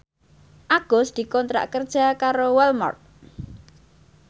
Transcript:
Agus dikontrak kerja karo Walmart